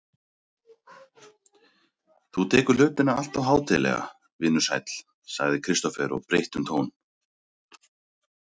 Þú tekur hlutina alltof hátíðlega, vinur sæll, sagði Kristófer og breytti um tón.